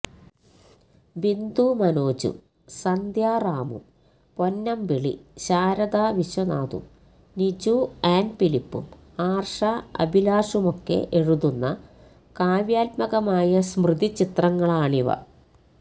ബിന്ദു മനോജും സന്ധ്യറാമും പൊന്നമ്പിളിശാരദാവിശ്വനാഥും നിജു ആൻ ഫിലിപ്പും ആർഷ അഭിലാഷുമൊക്കെ എഴുതുന്ന കാവ്യാത്മകമായ സ്മൃതിചിത്രങ്ങളാണിവ